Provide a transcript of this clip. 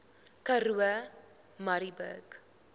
karoo murrayburg